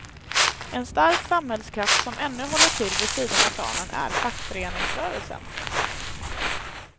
En stark samhällskraft som ännu håller till vid sidan av planen är fackföreningsrörelsen.